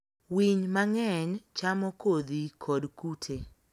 Winy mang'eny chamo kodhi kod kute.